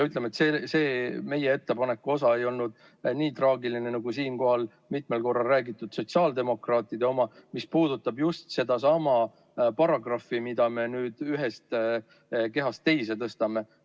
Ütleme, et see meie ettepaneku osa ei olnud nii traagiline, nagu siinkohal mitmel korral räägitud sotsiaaldemokraatide oma, mis puudutab just sedasama paragrahvi, mida me nüüd ühest kehast teise tõstame.